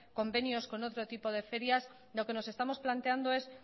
convenios con otro tipo de ferias lo que nos estamos planteando es